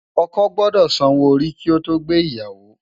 Òkò gbòdò sànwó óri ki ó to gbé iyàwó